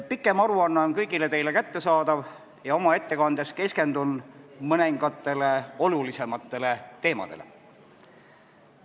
Pikem aruanne on kõigile teile kättesaadav ja oma ettekandes keskendun mõningatele olulisematele teemadele.